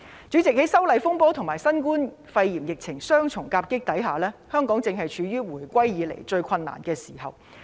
主席，在修例風波和新冠肺炎疫情雙重夾擊之下，香港正處於回歸以來最困難的時候。